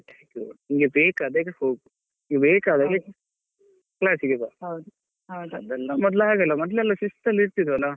ನಿಂಗೆ ಬೇಕಾದ್ ಹಾಗೆ ಹೋಗು ನಿಂಗೆ ಬೇಕಾದ ಹಾಗೆ class ಗೆ ಬಾ ಮೊದ್ಲು ಹಾಗಲ್ಲ ಮೊದ್ಲೆಲ್ಲಾ ಶಿಸ್ತಲ್ಲಿ ಇರ್ತಿದ್ವಲ್ಲ.